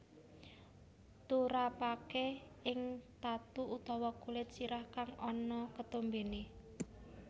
Turapaké ing tatu utawa kulit sirah kang ana ketombené